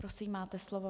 Prosím, máte slovo.